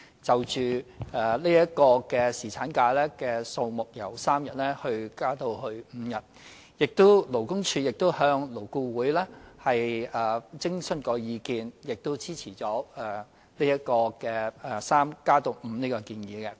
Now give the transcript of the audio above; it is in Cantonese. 就侍產假由3天增加至5天的建議，勞工處亦向勞工顧問委員會徵詢意見，而勞顧會亦支持由3天增加到5天的建議。